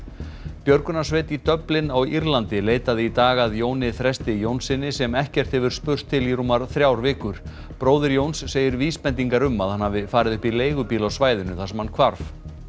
björgunarsveit í Dublin á Írlandi leitaði í dag að Jóni Þresti Jónssyni sem ekkert hefur spurst til í rúmar þrjár vikur bróðir Jóns segir vísbendingar um að hann hafi farið upp í leigubíl á svæðinu þar sem hann hvarf